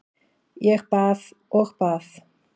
Ég bað og bað.